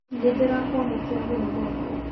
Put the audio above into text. Nĩ ndĩrakwamũkĩra mũno gwakwa